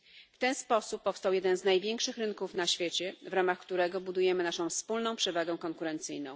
W ten sposób powstał jeden z największych rynków na świecie, w ramach którego budujemy naszą wspólną przewagę konkurencyjną.